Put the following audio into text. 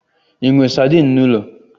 Ị nwe sadin n'ụlọ?